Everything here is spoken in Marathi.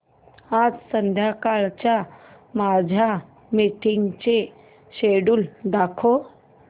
आज संध्याकाळच्या माझ्या मीटिंग्सचे शेड्यूल दाखव